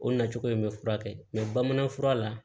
O nacogo in bɛ furakɛ bamanan fura la